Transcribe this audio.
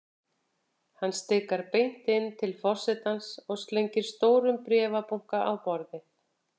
Hann stikar beint inn til forsetans og slengir stórum bréfabunka á borðið.